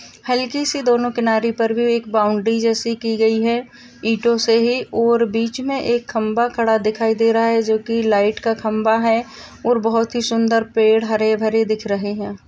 हलकी सी दोनों किनारी के ऊपर एक बाउंड्री जैसे की गई है ईंटों से ही और बीच में एक खम्भा खड़ा दिखाई दे रहा है जो की लाइट का खम्भा है और बहुत ही सुन्दर पेड़ हरे-भरे दिख रहे हैं।